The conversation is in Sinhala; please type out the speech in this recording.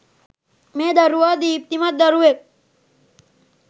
මේ දරුවා දීප්තිමත් දරුවෙක්.